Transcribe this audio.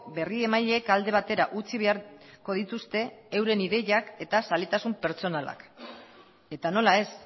berriemaileek alde batera utzi beharko dituzte euren ideiak eta zaletasun pertsonalak eta nola ez